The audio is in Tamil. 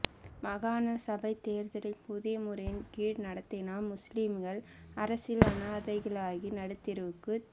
மாகாண சபைத் தேர்தலை புதிய முறையின் கீழ் நடத்தினால் முஸ்லிம்கள் அரசியல் அநாதைகளாகி நடுத் தெருவுக்குச்